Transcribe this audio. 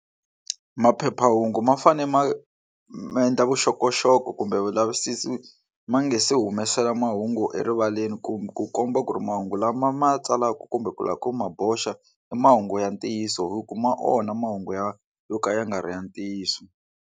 Maphephahungu ma fanele ma ma endla vuxokoxoko kumbe vulavisisi ma nga se humesela mahungu erivaleni kumbe ku komba ku ri mahungu lama ma tsalaka kumbe ku lava ku ma boxa i mahungu ya ntiyiso hi ku ma onha mahungu ya yo ka ya nga ri ya ntiyiso.